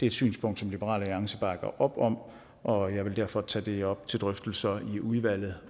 et synspunkt som liberal alliance bakker op om og jeg vil derfor tage det op til drøftelser i udvalget